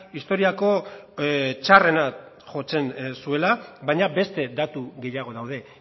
historiako txarrena jotzen zuela baina beste datu gehiago daude